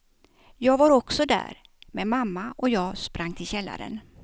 Jag var också där, men mamma och jag sprang till källaren.